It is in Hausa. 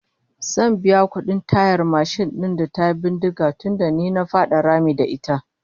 Zan biya kudin tayar mashin din da tayi bindiga tunda ni na fada rami da ita